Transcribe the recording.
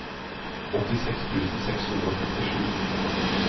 åttiseks tusen seks hundre og femtisju